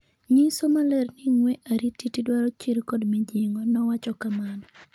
Nyiso maler ni ng'wee airititi dwaro chir kod mijing'o, nowacho kamano